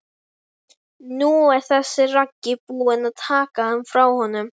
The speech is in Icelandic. Nú er þessi Raggi búinn að taka hann frá honum.